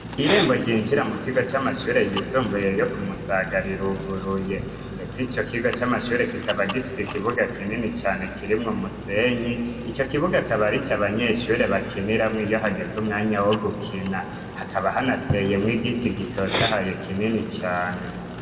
Irembo ryinjira mu kigo cy'amashure yisumbuye yo kumusaga riruguruye. Ndetse icyo kigo c'amashure kikaba gifise ikibuga kinini cyane kirimwe umusenyi icyo kibuga kaba aricyo abanyeshure bakinira mu iyo hageze umwanya wo gukina hakaba hanateye mw igiti gitota haye kinini cane.